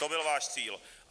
To byl váš cíl.